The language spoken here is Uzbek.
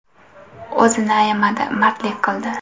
O‘zini ayamadi, mardlik qildi.